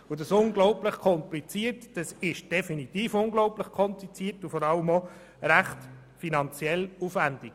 Das unglaublich Komplizierte ist definitiv unglaublich kompliziert und vor allem finanziell ziemlich aufwendig.